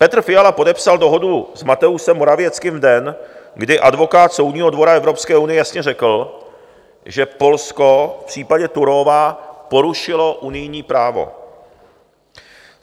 Petr Fiala podepsal dohodu s Mateuszem Morawieckým v den, kdy advokát Soudního dvora Evropské unie jasně řekl, že Polsko v případě Turówa porušilo unijní právo.